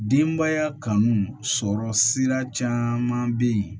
Denbaya kanu sɔrɔ sira caman bɛ yen